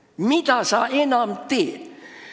Mida sul enam vaja teha on?